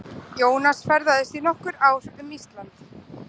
Jónas ferðaðist í nokkur ár um Ísland.